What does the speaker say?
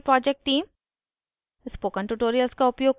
spoken tutorial project team: